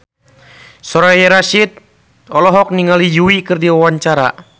Soraya Rasyid olohok ningali Yui keur diwawancara